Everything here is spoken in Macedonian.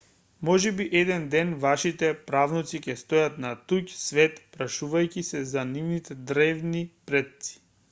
можеби еден ден вашите правнуци ќе стојат на туѓ свет прашувајќи се за нивните древни предци